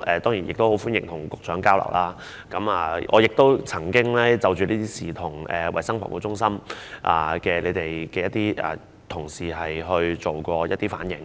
當然，我希望可以與局長交流詳細情況，而我亦曾就此向衞生防護中心的同事反映，